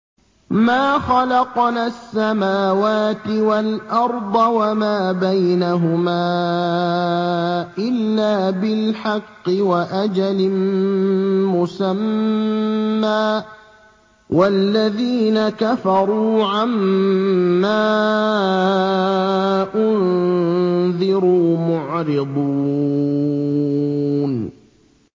مَا خَلَقْنَا السَّمَاوَاتِ وَالْأَرْضَ وَمَا بَيْنَهُمَا إِلَّا بِالْحَقِّ وَأَجَلٍ مُّسَمًّى ۚ وَالَّذِينَ كَفَرُوا عَمَّا أُنذِرُوا مُعْرِضُونَ